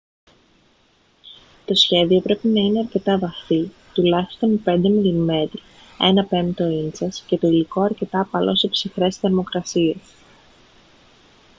το σχέδιο πρέπει να είναι αρκετά βαθύ τουλάχιστον 5 mm 1/5 ίντσας και το υλικό αρκετά απαλό σε ψυχρές θερμοκρασίες